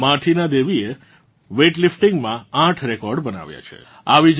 માર્ટિના દેવી એ વેઇટલિફ્ટિંગ માં આઠ રેકોર્ડ્સ બનાવ્યાં છે